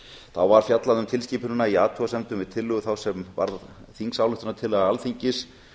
þá var fjallað um tilskipunina í athugasemdum við tillögu þá sem varð þingsályktunartillaga alþingis